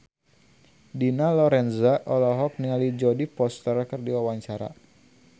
Dina Lorenza olohok ningali Jodie Foster keur diwawancara